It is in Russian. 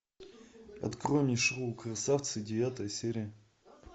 открой мне шоу красавцы девятая серия